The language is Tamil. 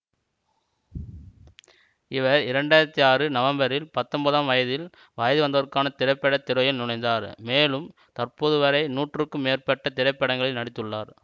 இவர் இரண்டு ஆயிரத்தி ஆறு நவம்பரில் பத்தொன்பதாம் வயதில் வயது வந்தோர்க்கான திரைப்பட துறையில் நுழைந்தார் மேலும் தற்போதுவரை நூறுக்கும் மேற்பட்ட திரைப்படங்களில் நடித்துள்ளார்